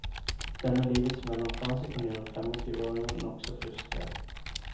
Denne livets mellomfase kan gjøre femogtyveåringen nokså frustrert.